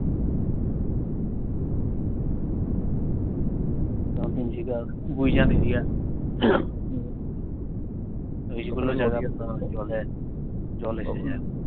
তিনশিকা, Guijan area এইগুলো জায়গাতে জল জল এসে যায়।